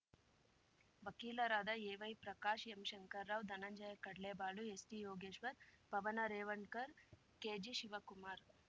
ವಕೀಲರಾದ ಎವೈಪ್ರಕಾಶ್ ಎಂಶಂಕರ ರಾವ್‌ ಧನಂಜಯ ಕಡ್ಲೆಬಾಳು ಎಸ್‌ಟಿಯೋಗೇಶ್ವರ್ ಪವನ ರೇವಣ್ಕರ್ ಕೆಜಿಶಿವಕುಮಾರ್